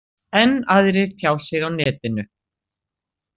Enn aðrir tjá sig á netinu.